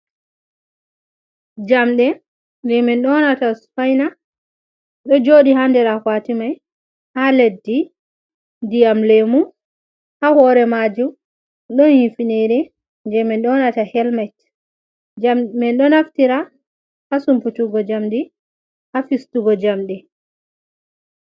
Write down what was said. Jamɗe je min nyonata spaina, ɗo joɗi ha nɗer akwati mai, ha leddi nɗiyam lemu, ha hore maju don hifinire je min nyonata helmet, jamɗe min do naftira ha sumputugo jamdi ha fistugo jamɗe.